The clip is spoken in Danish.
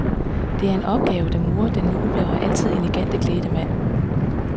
Det er en opgave, der morer den noble og altid elegant klædte mand.